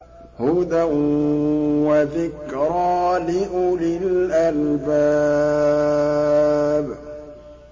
هُدًى وَذِكْرَىٰ لِأُولِي الْأَلْبَابِ